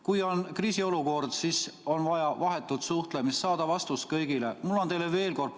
Kui on kriisiolukord, siis on vaja vahetut suhtlemist, et saada vastus kõigile.